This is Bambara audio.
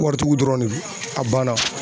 Waritigiw dɔrɔn de don a banna.